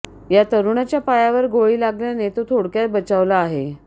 या तरुणाच्या पायावर गोळी लागल्याने तो थोडक्यात बचावला आहे